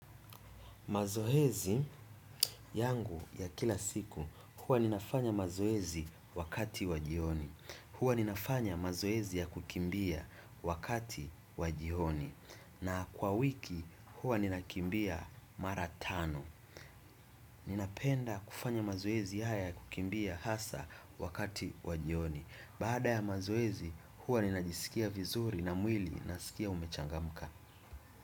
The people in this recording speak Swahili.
Mazoezi yangu ya kila siku, huwa ninafanya mazoezi wakati wa jioni. Huwa ninafanya mazoezi ya kukimbia wakati wa jioni. Na kwa wiki, huwa ninakimbia mara tano. Ninapenda kufanya mazoezi haya ya kukimbia hasa wakati wa jioni. Baada ya mazoezi, huwa ninajisikia vizuri na mwili unasikia umechangamka.